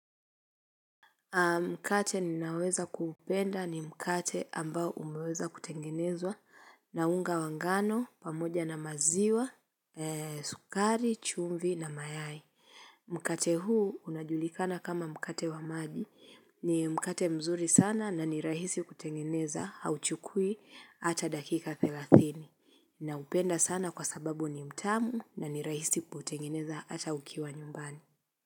Mkate ninaoweza kuupenda ni mkate ambao umeweza kutengenezwa na unga wa ngano pamoja na maziwa, sukari, chumvi na mayai. Mkate huu unajulikana kama mkate wa maji ni mkate mzuri sana na ni rahisi kutengeneza hauchukui hata dakika thelathini. Naupenda sana kwa sababu ni mtamu na ni rahisi kutengeneza hata ukiwa nyumbani.